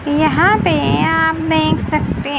यहां पे आप देख सकते--